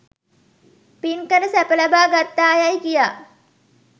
පින් කර සැප ලබා ගත්තායැයි කියා